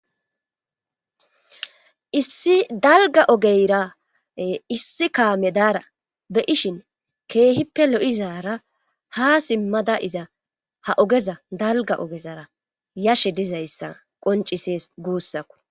issi dalga ogeyra issi kaame daara be7ishin keehippe lo7izara ha simmada iza ha ogeza dalga ogezara yashe dizayssa qoncises guussakku